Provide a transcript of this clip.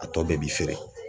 A tɔ bɛɛ bi feere.